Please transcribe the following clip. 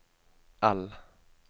L